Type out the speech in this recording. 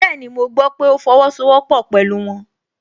Bẹ́ẹ̀ni, mo gbọ́ pé ó fọwọ́sowọ́pọ́ pẹ̀lú wọn